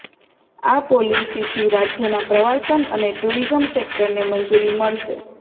આ પોલિસીથી રાજ્યના પ્રવાસન અને ટુરિઝમ સેક્ટરને મંજૂરી મળશે